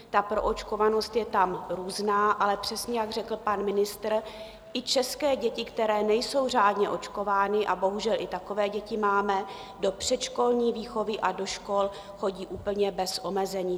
Ta proočkovanost je tam různá, ale přesně jak řekl pan ministr, i české děti, které nejsou řádně očkovány, a bohužel i takové děti máme, do předškolní výchovy a do škol chodí úplně bez omezení.